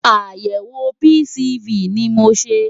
Àyẹ̀wò PCV ni mo ṣe.